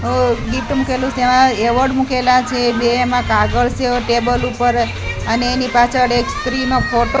મૂકેલું તેમા એવોર્ડ મુકેલા છે બે એમા કાગળ સે ટેબલ ઉપર અને એની પાછળ એક સ્ત્રીનો ફોટો --